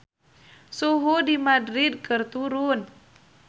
Suhu di Madrid keur turun